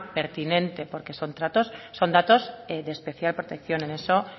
pertinente porque son datos de especial protección en eso